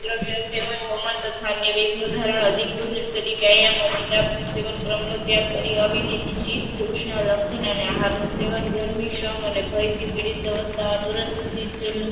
દ્રવ્ય સેવન હોમત થનયા વેઘ નું ધરણ અધિક ભોજન કાયમ સેવેન ક્રમ નું ત્યાં કરી આવી દીધી. સિદ્ધ પુરુષ લગન નું આહારનું સેવન ગરમી શ્રમ અને ભય થી પીડિત અવસ્થા અધુરસ્ત સિદ્ધ